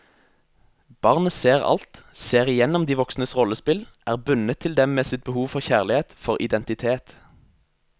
Barnet ser alt, ser igjennom de voksnes rollespill, er bundet til dem med sitt behov for kjærlighet, for identitet.